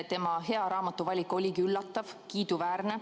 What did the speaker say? Tema hea raamatuvalik oligi üllatav ja kiiduväärne.